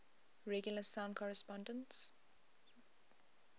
regular sound correspondences